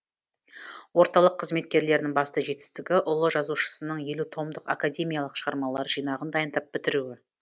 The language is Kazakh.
орталық қызметкерлерінің басты жетістігі ұлы жазушының елу томдық академиялық шығармалар жинағын дайындап бітіруі